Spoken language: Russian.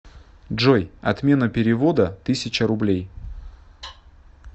джой отмена перевода тысяча рублей